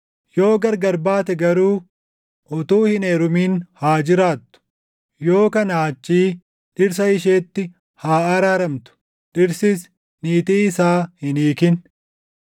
Yoo gargar baate garuu utuu hin heerumin haa jiraattu; yoo kanaa achii dhirsa isheetti haa araaramtu. Dhirsis niitii isaa hin hiikin.